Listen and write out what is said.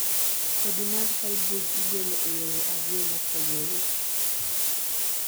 kodhi mar hybrid igolo e yore ariyo mopogre